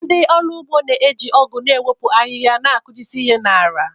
Ndị ọrụ ugbo na-eji ọgu na-ewepụ ahịhịa na-akụjisị ala.